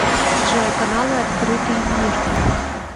джой каналы открытый мир